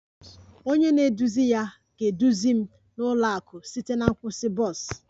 Onye na-eduzi ya ga-eduzi m n'ụlọ akụ site na nkwụsị bọs